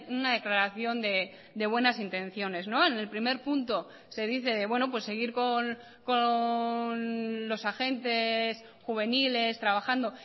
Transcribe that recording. una declaración de buenas intenciones en el primer punto se dice seguir con los agentes juveniles trabajando